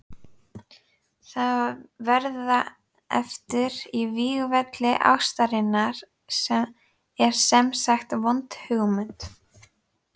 Að verða eftir á vígvelli ástarinnar er semsagt vond hugmynd.